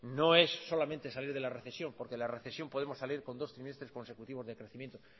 no es solamente salir de la recesión porque de la recesión podemos salir con dos trimestres consecutivos de crecimiento